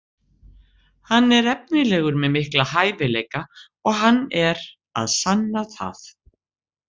Hann er efnilegur með mikla hæfileika og hann er að sanna það.